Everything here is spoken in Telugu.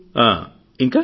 ఆ ఇంకా